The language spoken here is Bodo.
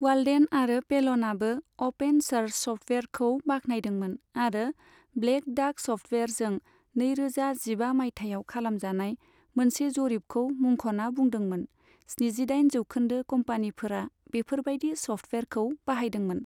वाल्डेन आरो पेलनआबो अपेन स'र्स सफ्टवेयारखौ बाख्नायदोंमोन आरो ब्लेक डाक सफ्टवेयारजों नैरोजा जिबा मायथाइयाव खालामजानाय मोनसे जरिबखौ मुंखना बुंदोंमोन स्निजिदाइन जौखोन्दो कम्पानीफोरा बेफोरबायदि सफ्टवेयारखौ बाहायदोंमोन।